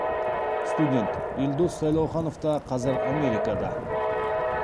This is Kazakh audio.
студент елдос сайлауханов та қазір америкада